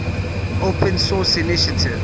open source initiative